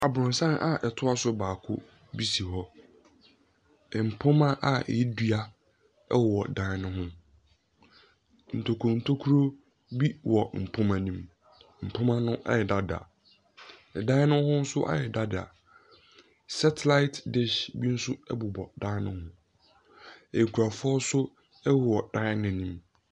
Aborosan a ɛtoa so baako bi si hɔ. Mpoma a ɛyɛ dua wɔ dan no ho. Ntokuro ntokuro bi wɔ mpoma no mu. Mpoma no ayɛ dadaa. Dan no ho nso ayɛ dadaa. Satelite dish bi nso bobɔ dan no ho. Nkurɔfoɔ nso wɔ dan no anim.